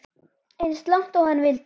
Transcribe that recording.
Eins langt og hann vildi.